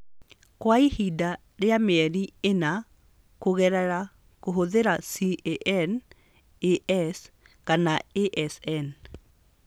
Kwa ihinda rĩa mĩeri ĩna kũgerera kũhũthĩra C.A.N., A.S., kana A.S.N.